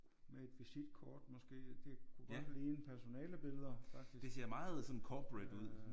Med et visitkort måske det kunne godt ligne personalebilleder faktisk